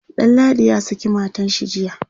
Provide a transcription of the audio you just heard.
Danladi ya saki matanshi jiya